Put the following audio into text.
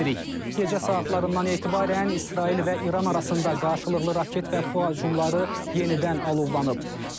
Gecə saatlarından etibarən İsrail və İran arasında qarşılıqlı raket və PUA hücumları yenidən alovlanıb.